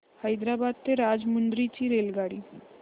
हैदराबाद ते राजमुंद्री ची रेल्वेगाडी